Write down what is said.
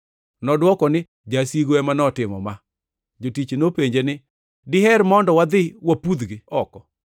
“Nodwoko ni, ‘Jasigu ema notimo ma.’ “Jotich nopenje ni, ‘Diher mondo wadhi wapudhgi oko?’